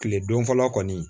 Kile don fɔlɔ kɔni